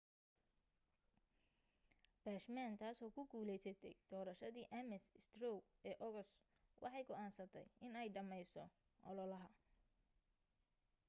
bachmann taasoo ku guuleysatay doorashadii ames straw ee ogos waxay go'aansatay inay dhameyso ololaha